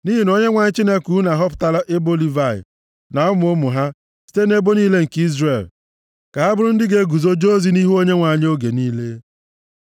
Nʼihi na Onyenwe anyị Chineke unu ahọpụtala ebo Livayị na ụmụ ụmụ ha site nʼebo niile nke Izrel ka ha bụrụ ndị ga-eguzo jee ozi nʼihu Onyenwe anyị oge niile.